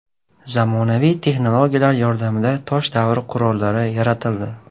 Zamonaviy texnologiyalar yordamida tosh davri qurollari yaratildi .